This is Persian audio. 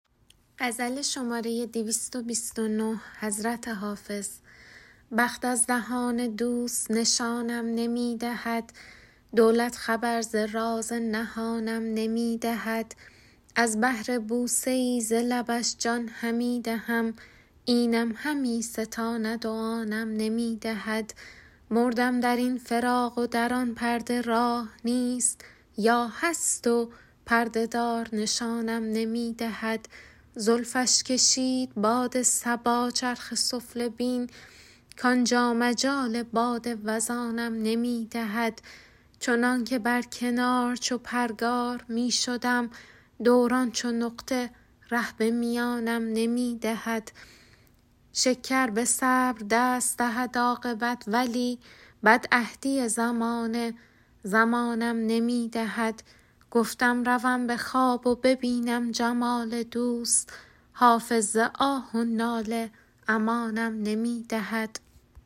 بخت از دهان دوست نشانم نمی دهد دولت خبر ز راز نهانم نمی دهد از بهر بوسه ای ز لبش جان همی دهم اینم همی ستاند و آنم نمی دهد مردم در این فراق و در آن پرده راه نیست یا هست و پرده دار نشانم نمی دهد زلفش کشید باد صبا چرخ سفله بین کانجا مجال باد وزانم نمی دهد چندان که بر کنار چو پرگار می شدم دوران چو نقطه ره به میانم نمی دهد شکر به صبر دست دهد عاقبت ولی بدعهدی زمانه زمانم نمی دهد گفتم روم به خواب و ببینم جمال دوست حافظ ز آه و ناله امانم نمی دهد